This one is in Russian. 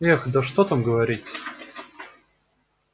эх да что там говорить